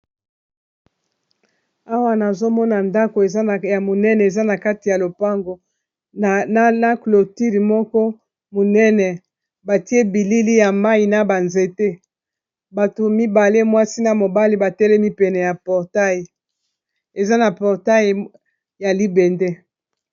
Awa nazomona ndako ya monene eza na kati ya lopango na cloture moko monene batie bilili ya mayi na ba nzete bato mibale mwasi na mobali batelemi pene ya portail eza na portai ya libende.